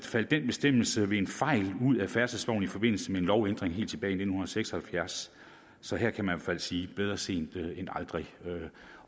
faldt den bestemmelse ved en fejl ud af færdselsloven i forbindelse med en lovændring helt tilbage i nitten seks og halvfjerds så her kan man fald sige bedre sent end aldrig